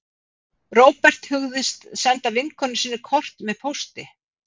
Róbert hugðist senda vinkonu sinni kort með pósti